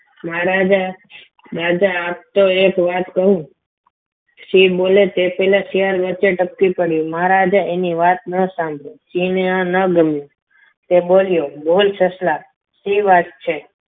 મહારાજા રાજા આમ તો એક વાત કહું સિંહ બોલે તે પહેલા શિયાળ વચ્ચે ટપકી પડ્યું મહારાજા એની વાત ન સાંભળો સિંહને આ ન ગમે તે બોલ સસલા સી વાત છે